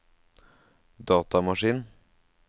datamaskin